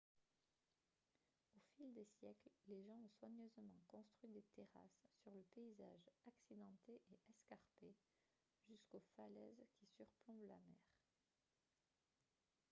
au fil des siècles les gens ont soigneusement construit des terrasses sur le paysage accidenté et escarpé jusqu'aux falaises qui surplombent la mer